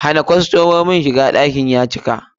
Hana kostomomi daga shiga, ɗakin ya cika!